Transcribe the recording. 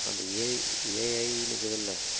அந்த AAI ன்னு இருக்குதுல்ல